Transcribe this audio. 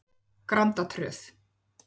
Grandatröð